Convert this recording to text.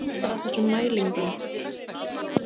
Hvernig hefði átt að standa að þessum mælingum?